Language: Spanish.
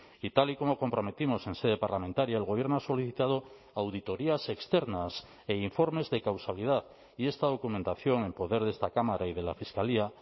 y tal y como comprometimos en sede parlamentaria el gobierno ha solicitado auditorías externas e informes de causalidad y esta documentación en poder de esta cámara y de la fiscalía